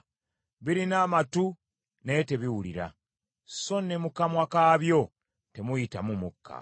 birina amatu naye tebiwulira; so ne mu kamwa kaabyo temuyitamu mukka.